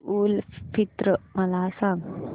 ईद उल फित्र मला सांग